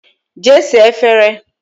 Jee saa efere!